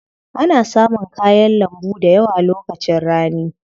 Ana samun kayan lambu dayawa lokacin rani.